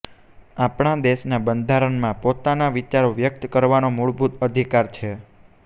આપણા દેશના બંધારણમાં પોતાના વિચારો વ્યક્ત કરવાનો મૂળભૂત અધિકાર છે